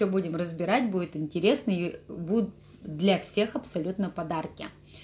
и будем разбирать будет интересный для всех абсолютно подарки